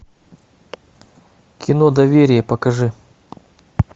кино доверие покажи